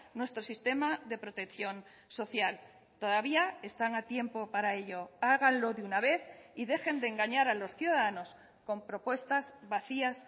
nuestro sistema de protección social todavía están a tiempo para ello háganlo de una vez y dejen de engañar a los ciudadanos con propuestas vacías